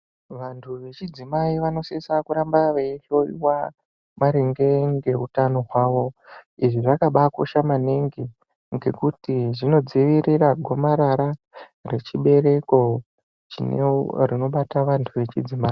Vantu vechidzimai vanosisa kuramba veihloyiwa maringe ngeutano hwawo, izvi zvakabaakosha maningi ngekuti zvinodzivirira gomarara rechibereko chino rinobata vantu vechidzimai.